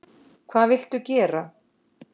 Hvað viltu gera?